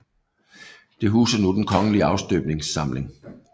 Det huser nu Den Kongelige Afstøbningssamling